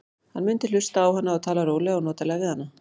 Hann mundi hlusta á hana og tala rólega og notalega við hana.